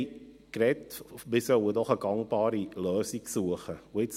Sie sprachen davon, dass wir doch eine gangbare Lösung suchen sollen.